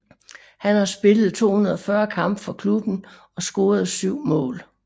Han har spillet 240 kampe for klubben og scorede syv mål